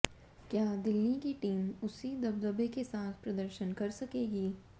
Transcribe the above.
क्या दिल्ली की टीम उसी दबदबे के साथ प्रदर्शन कर सकेगी